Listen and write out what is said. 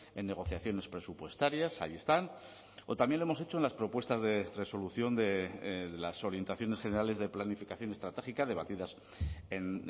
en negociaciones presupuestarias ahí están o también lo hemos hecho en las propuestas de resolución de las orientaciones generales de planificación estratégica debatidas en